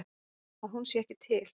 Að hún sé ekki til.